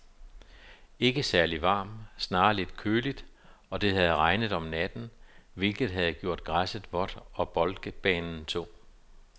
Ikke særligt varmt, snarere lidt køligt, og det havde regnet om natten, hvilket havde gjort græsset vådt og boldbanen tung.